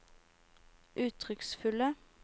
uttrykksfulle